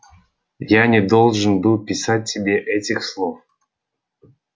я не должен был писать тебе этих слов